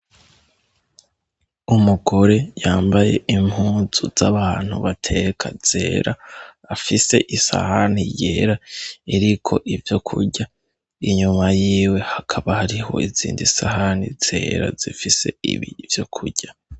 Umugore yambaye impunzu z'abantu bateka zera, afise isahani yera iriko ivyokurya ,inyuma yiwe hakaba hariho izindi sahani zera zifise ivyokurya.